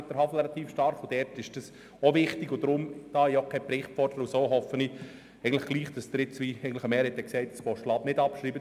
Da ich keinen Bericht fordere, hoffe ich, dass Sie nun – wie eine Mehrheit der Sprecher gesagt hat – das Postulat im Sinne eines Dauerauftrags nicht abschreiben.